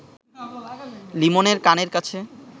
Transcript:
লিমনের কানের কাছে